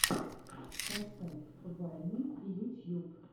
поставь вайны ютьюб